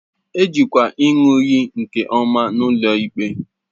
E jikwa ịṅụ iyi nke ọma n'ụlọ ikpe